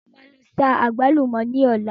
Mo máa lọ sa àgbálùmọ̀ ní ọlá.